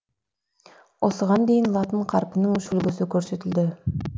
осыған дейін латын қарпінің үш үлгісі көрсетілді